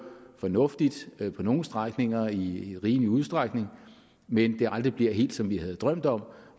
fornuftigt på nogle strækninger i i rimelig udstrækning men at det aldrig bliver helt som vi havde drømt om